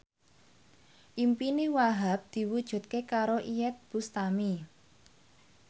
impine Wahhab diwujudke karo Iyeth Bustami